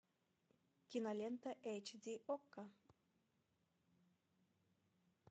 кинолента эйч ди окко